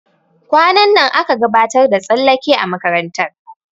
Kwanan nan aƙa gabatar da tsallake a makarantar.